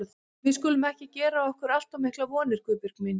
Við skulum ekki gera okkur allt of miklar vonir, Guðbjörg mín.